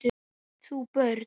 Átt þú börn?